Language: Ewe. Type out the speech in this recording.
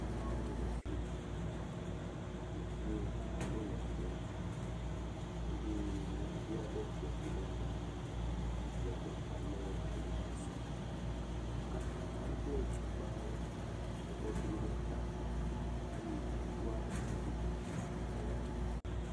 Ameawo le efli me. Ɖeviwo hã wo le eflia me. Eye nyɔnuvi aɖe kpe evi ɖe eme. Ɖevia ɖeka le ali ɖe asi. Wo katã woble woƒe agbawo ekɔ dro ɖe ta eye ŋutsu aɖe hã ɖo kuku le wo dome.